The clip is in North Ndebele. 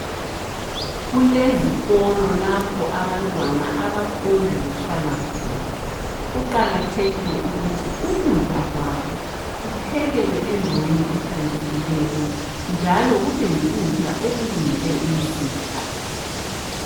Kulezikolo lapho abantwana abafunda behlala khona kuqakathekile ukuthi ukudla kwabo kuphekelwe endaweni ehlanzekileyo njalo kube yikudla okulungele umzimba.